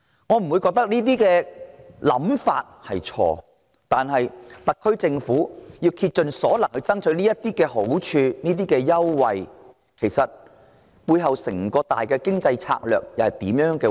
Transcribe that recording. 我認為這些想法並沒有錯，只是特區政府竭盡所能爭取這些好處、優惠，背後其實是出於甚麼整體經濟策略？